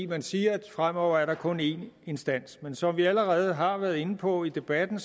man siger at fremover er der kun en instans men som vi allerede har været inde på i debatten